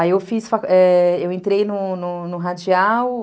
Aí eu fiz... Eu entrei no Radial.